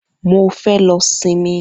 Mo fẹ́ lọ sinmi.